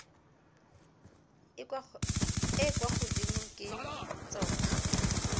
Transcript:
e kwa godimo ke tsona